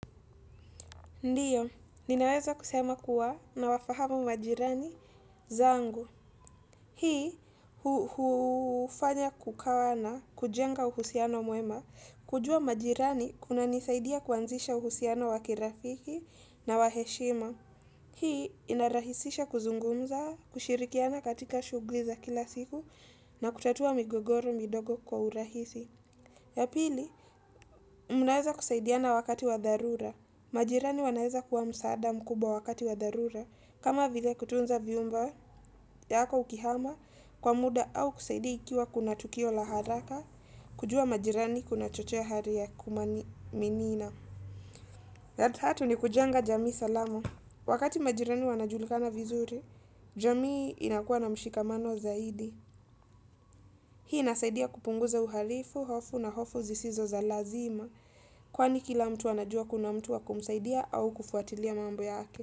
Ndiyo, ninaweza kusema kuwa nawafahamu majirani zangu. Hii, hufanya kukawa na, kujenga uhusiano mwema, kujua majirani kunanisaidia kuanzisha uhusiano wa kirafiki na wa heshima. Hii, inarahisisha kuzungumza, kushirikiana katika shughuli za kila siku, na kutatua migogoro midogo kwa urahisi. Ya pili, mnaeza kusaidiana wakati wa dharura. Majirani wanaeza kuwa msaada mkubwa wakati wa dharura kama vile kutunza vyumba yako ukihama kwa muda au kusaidia ikiwa kuna tukio la haraka kujua majirani kunachochea hali ya kumaminina. Ya tatu ni kujenga jamii salama. Wakati majirani wanajulikana vizuri, jamii inakuwa na mshikamano zaidi. Hii inasaidia kupunguza uhalifu, hofu na hofu zisizo za lazima. Kwani kila mtu anajua kuna mtu wa kumsaidia au kufuatilia mambo yake.